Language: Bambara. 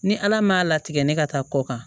Ni ala m'a latigɛ ne ka taa kɔ kan